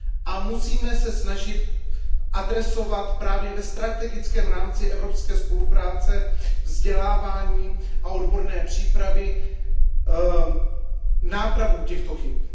A musíme se snažit adresovat právě ve strategickém rámci evropské spolupráce vzdělávání a odborné přípravy nápravu těchto chyb.